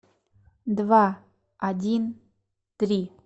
два один три